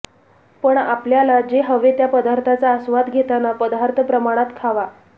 पण आपल्याला जे हवे त्या पदार्थांचा आस्वाद घेताना पदार्थ प्रमाणात खावा